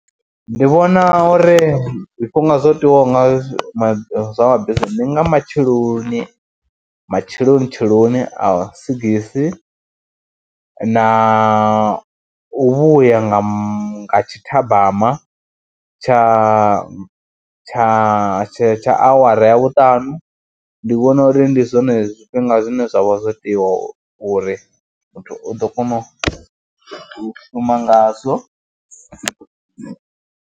Ndi vhona uri zwifhinga zwo tiwaho nga ma zwa mabisi ndi nga matsheloni, matsheloni tsheloni a sigisi na u vhuya nga ma tshithabama tsha tsha tsha tsha awara ya vhuṱanu. Ndi vhona uri ndi zwone zwifhinga zwine zwa vha zwo tiwa uri muthu u ḓo kona u shuma ngazwo.